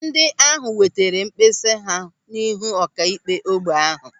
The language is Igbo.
Ndị ahụ wetara mkpesa ha n'ihu ọkaikpe ógbè ahụ.